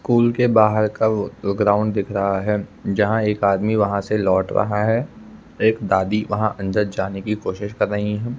School के बाहर का ग्राउंड दिख रहा है जहां एक आदमी वहां से लौट रहा है एक दादी वहां अंदर जाने की कोशिश कर रही हैं।